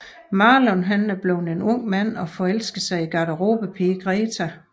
Marlon er nu blevet en ung mand og forelsker sig i garderobepigen Greta